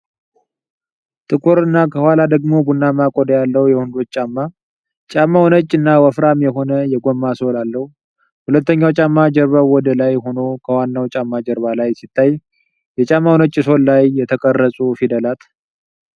ጥቁር እና ከኋላ ደግሞ ቡናማ ቆዳ ያለው የወንዶች ጫማ ። ጫማው ነጭ እና ወፍራም የሆነ የጎማ ሶል አለው። ሁለተኛው ጫማ ጀርባው ወደ ላይ ሆኖ ከዋናው ጫማ ጀርባ ላይ ሲታይ፣ የጫማው ነጭ ሶል ላይ የተቀረጹ ፊደላት።